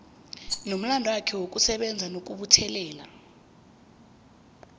nomlandwakhe wokusebenza nokubuthelela